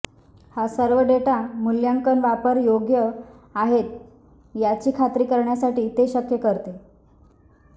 हा सर्व डेटा मूल्यांकन वापर योग्य आहेत याची खात्री करण्यासाठी ते शक्य करते